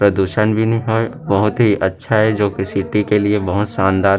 प्रदूषण भी नी होय बहुत ही अच्छा हें जो की सिटी के लिए बहुत शानदार --